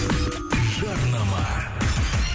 жарнама